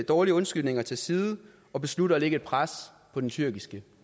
dårlige undskyldninger til side og beslutte at lægge et pres på den tyrkiske